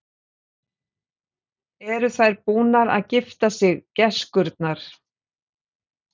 Eru þær búnar að gifta sig, gæskurnar?